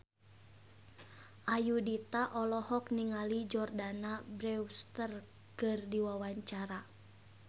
Ayudhita olohok ningali Jordana Brewster keur diwawancara